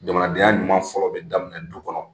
Jamanadenya ɲuman fɔlɔ bɛ daminɛ du kɔnɔ